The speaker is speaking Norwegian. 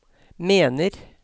mener